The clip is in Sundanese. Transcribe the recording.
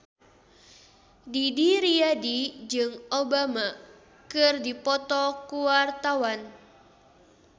Didi Riyadi jeung Obama keur dipoto ku wartawan